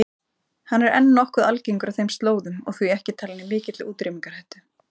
Hann er enn nokkuð algengur á þeim slóðum og því ekki talinn í mikilli útrýmingarhættu.